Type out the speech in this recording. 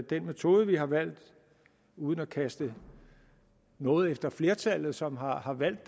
den metode vi har valgt uden at kaste noget efter flertallet som har har valgt